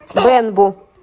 бэнбу